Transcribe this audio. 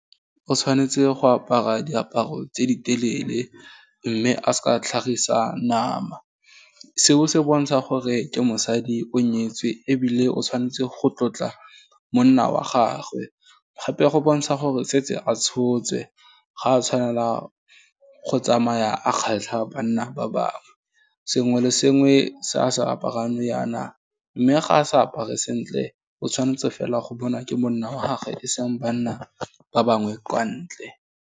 O tshwanetse go apara diaparo tse ditelele mme a seka a tlhagisa nama, seo se bontsha gore ke mosadi o nyetswe ebile o tshwanetse go tlotla monna wa gagwe, gape go bontsha gore setse a tshotswe, ga a tshwanela go tsamaya a kgatlha banna ba bangwe, sengwe le sengwe se a se aparang nou yaana, mme ga a sa apare sentle, o tshwanetse fela go bona ke monna wa gagwe e seng banna ba bangwe kwa ntle.